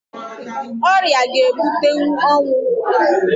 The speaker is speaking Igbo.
Ọrịa ga ebutenwu ọnwụ